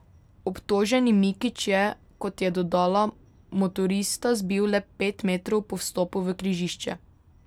Obtoženi Mikić je, kot je dodala, motorista zbil le pet metrov po vstopu v križišče.